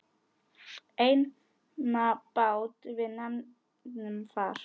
Einatt bát við nefnum far.